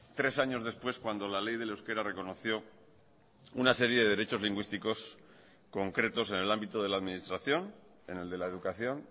tres años después cuando la ley del euskera reconoció una serie de derechos lingüísticos concretos en el ámbito de la administración en el de la educación